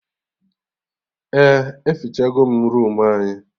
Eh, efichagom roomu anyị